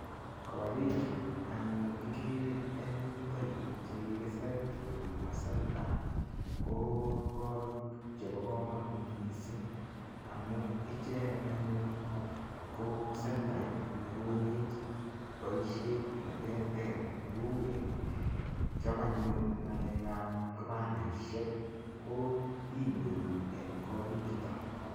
Korichu anyun kigere eng yuto yu che kikisir huduma centre ko korik chebo kamanut mising amu icheget anyun ko sentait nekonech boisionik cheterter neu kochob anyun ngalekab kipandisiek ko inyoru eng korichuto.